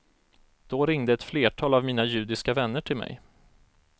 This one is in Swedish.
Då ringde ett flertal av mina judiska vänner till mig.